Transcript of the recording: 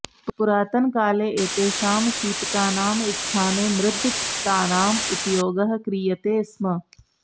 पुरातनकाले एतेषां शीतकानां स्थाने मृद्घटानाम् उपयोगः क्रियते स्म